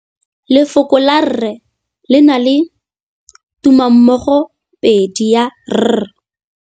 Lefoko la rre, le na le tumammogôpedi ya, r.